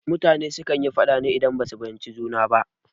Mutane su kan yi faɗa ne idan ba su fahimci juna ba